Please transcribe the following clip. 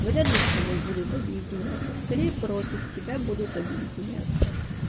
вряд ли с тобой будут объединяться скорее против тебя будут объединяться